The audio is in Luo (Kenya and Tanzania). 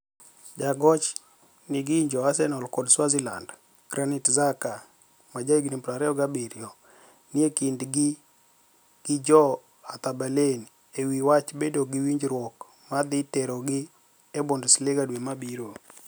Jagoch/nig'inijo Arsenial kod Switzerlanid, Graniit Xhaka, ma jahiginii 27, nii e kinid gi jo Hertha Berlini e wi wach bedo gi winijruok ma dhi terogi e Bunidesliga dwe mabiro.